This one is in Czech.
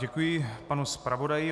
Děkuji panu zpravodaji.